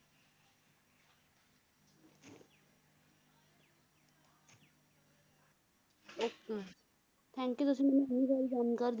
Okay thank you ਤੁਸੀਂ ਮੈਨੂੰ ਇੰਨੀ ਸਾਰੀ ਜਾਣਕਾਰੀ